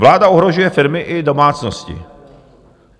Vláda ohrožuje firmy i domácnosti.